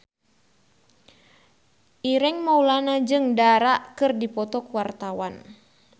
Ireng Maulana jeung Dara keur dipoto ku wartawan